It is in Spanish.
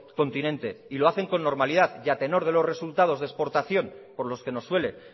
continente y lo hacen con normalidad y a tenor de los resultado de exportación por los que nos suele